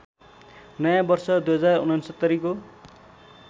नयाँ वर्ष २०६९ को